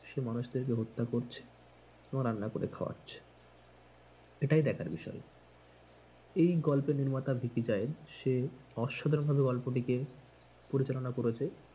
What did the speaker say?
সে মানুষদের কে হত্যা করছে এবং রান্না করে খাওয়াচ্ছে এটাই দেখার বিষয় এই গল্পের নির্মাতা ভিকি জায়েদ সে, অসাধারণভাবে গল্পটিকে পরিচালনা করেছে।